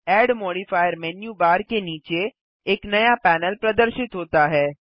add modifier menu bar के नीचे एक नया पैनल प्रदर्शित होता है